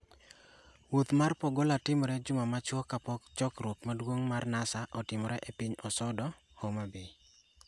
Wuoth mar Pagola timore juma machuok kapok chokruok maduong' mar NASA otimore e piny Osodo, Homabay